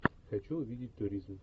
хочу увидеть туризм